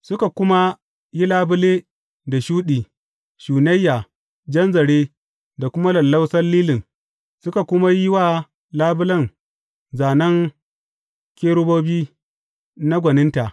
Suka kuma yi labule da shuɗi, shunayya, jan zare, da kuma lallausan lilin, suka kuma yi wa labulen zānen kerubobi na gwaninta.